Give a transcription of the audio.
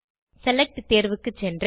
select தேர்வுக்கு சென்று